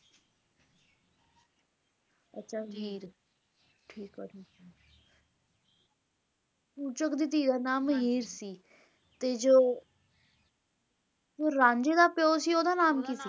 ਅੱਛਾ ਹੀਰ ਠੀਕ ਆ ਜੀ ਚੂਚਕ ਦੀ ਧੀ ਦਾ ਨਾਮ ਹੀਰ ਸੀ ਤੇ ਜੋ ਰਾਂਝੇ ਦਾ ਪਿਓ ਸੀ ਓਹਦਾ ਨਾਮ ਕੀ ਸੀ ਸੀ